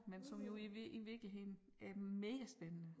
Men som jo i i virkeligheden er megaspændende